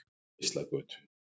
Geislagötu